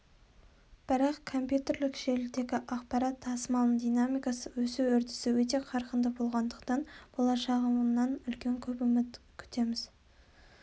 бірақ компьютерлік желідегі ақпарат тасымалының динамикасы өсу үрдісі өте қарқынды болғандықтан болашағынан көп үміт күтеміз